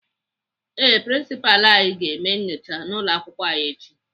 Ee, Prinsipalụ anyị ga-eme nnyocha n'ụlọakwụkwọ anyị echi.